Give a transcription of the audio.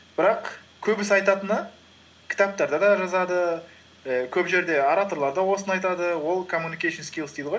бірақ көбісі айтатыны кітаптарда да жазады і көп жерде ораторлар да осыны айтады ол коммуникейшн скилз дейді ғой